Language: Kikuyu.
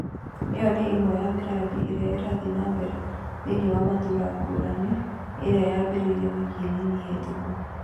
Iyo nĩ ĩmwe ya mĩradi ĩrĩa ĩrathie na mbere thĩine wa matũũra ngũranĩ ĩrĩa yambĩrĩrio wiki nini hĩtũku